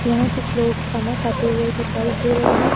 यहां कुछ लोग खाना खाते हुए दिखाई दे रहे हैं।